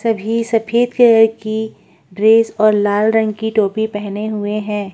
सभी सफेद कलर की ड्रेस और लाल रंग की टोपी पहने हुए हैं।